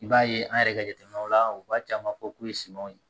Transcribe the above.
I b'a ye an yɛrɛ ka jateminɛw la u b'a caman fɔ k'u ye simanw ye